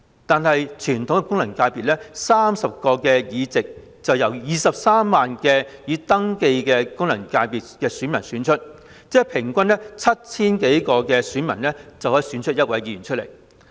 但是，傳統功能界別的30個議席卻由23萬名已登記的功能界別選民選出，即平均 7,000 多名選民就可以選出1名議員。